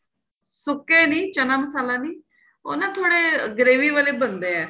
ਸੁੱਕੇ ਨਹੀਂ ਚੰਨਾ ਮਸ਼ਾਲਾ ਨਹੀਂ ਉਹ ਨਾ ਥੋੜੇ gravy ਵਾਲੇ ਬਣਦੇ ਏ